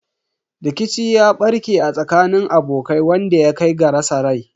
Rikici ya barke a tsakanin abokai wanda ya kai ga rasa rai.